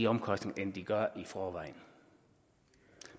omkostningerne end de gør i forvejen